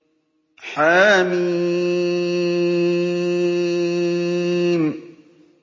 حم